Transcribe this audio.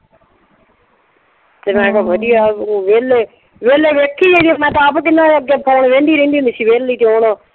ਤੇ ਮੈਂ ਕਿਹਾ ਊਂ ਵਿਹਲੇ, ਵਿਹਲੇ ਵੇਖੀ ਚੱਲੋ ਮੈਂ ਤਾਂ ਆਪ ਕਹਿੰਨੀ ਆ ਅੱਗੇ ਵਿਹਲੀ ਰਹਿੰਦੀ ਹੁੰਦੀ ਸੀ ਹਵੇਲੀ ਚ ਹੁਣ।